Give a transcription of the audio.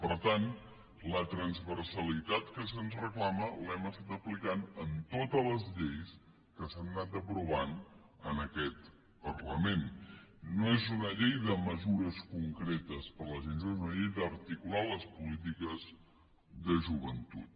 per tant la transversalitat que se’ns reclama l’hem estat aplicant en totes les lleis que s’han anat aprovant en aquest parlament no és una llei de mesures concretes per a la gent jove és una llei d’articular les polítiques de joventut